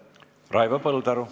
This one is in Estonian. Raivo Põldaru.